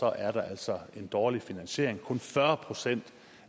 er der altså en dårlig finansiering det kun fyrre procent